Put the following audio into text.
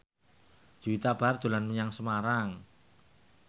Juwita Bahar dolan menyang Semarang